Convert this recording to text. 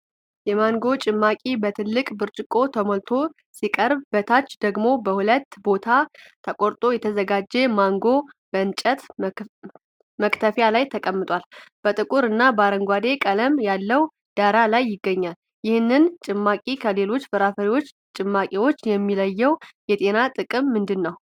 የማንጎ ጭማቂ በትልቅ ብርጭቆ ተሞልቶ ሲቀርብ፣ በታች ደግሞ በሁለት ቦታ ተቆርጦ የተዘጋጀ ማንጎ በእንጨት መክተፊያ ላይ ተቀምጧል። ጥቁር እና አረንጓዴ ቀለም ያለው ዳራ ላይ ይገኛሉ። ይህንን ጭማቂ ከሌሎች የፍራፍሬ ጭማቂዎች የሚለየው የጤና ጥቅም ምንድን ነው?